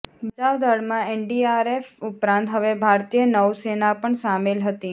બચાવ દળમાં એનડીઆરએફ ઉપરાંત હવે ભારતીય નૌસેના પણ સામેલ હતી